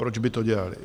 Proč by to dělali?